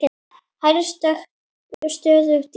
Hrærið stöðugt í.